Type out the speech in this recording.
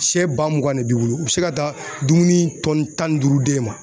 Sɛ ba mugan de b'i bolo. U be se ka taa dumuni tan ni duuru d'e ma